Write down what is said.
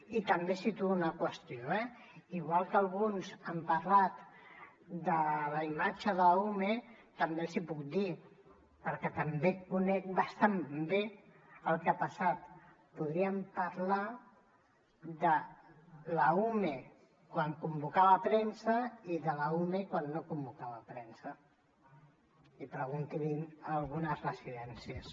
i també situo una qüestió eh igual que alguns han parlat de la imatge de l’ume també els hi puc dir perquè també conec bastant bé el que ha passat podríem parlar de l’ume quan convocava premsa i de l’ume quan no convocava premsa i preguntin ho en algunes residències